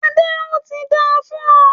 Adé, óti dáa fún ọ